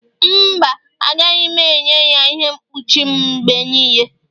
mba, agaghị m enye ya ihe mkpuchi m mgbe niile